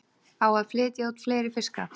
Á að flytja út fleiri fiska